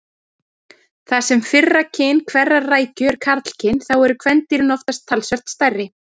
Þar sem fyrra kyn hverrar rækju er karlkyn þá eru kvendýrin oftast talsvert stærri.